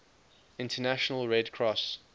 international red cross